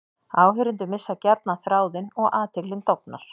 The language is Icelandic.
Áheyrendur missa gjarnan þráðinn og athyglin dofnar.